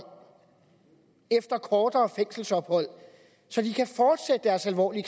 efter kortere fængselsophold så de kan fortsætte deres alvorlige